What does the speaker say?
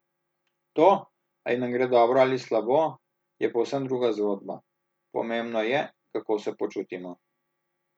To, ali nam gre dobro ali slabo, je povsem druga zgodba, pomembno je, kako se počutimo.